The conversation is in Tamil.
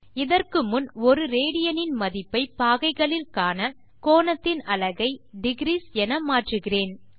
அதற்கு முன் 1 ராட் இன் மதிப்பை பாகைகளில் காண கோணத்தின் அலகை டிக்ரீஸ் என மாற்றுகிறேன்